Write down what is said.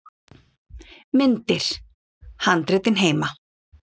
Myndir: Handritin heima.